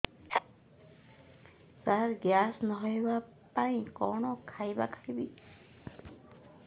ସାର gas ନ ହେବା ପାଇଁ କଣ ଖାଇବା ଖାଇବି